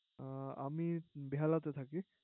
আমি বেহালাতে থাকি